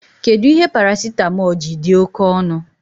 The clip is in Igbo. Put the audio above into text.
Kedụ ihe paracitamọl ji dị oké ọnụ